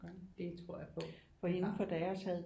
Det tror jeg på det har